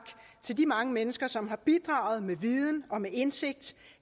til de mange mennesker som har bidraget med viden og med indsigt